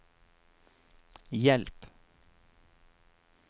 hjelp